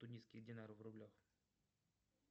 тунисские динары в рублях